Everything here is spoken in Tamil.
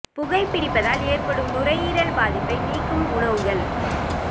புகைப் பிடிப்பதால் ஏற்படும் நுரையீரல் பாதிப்பை நீக்கும் உணவுகள்